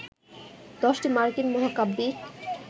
১০টি মার্কিন মহাকাব্যিক